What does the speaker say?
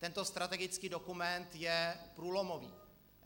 Tento strategický dokument je průlomový.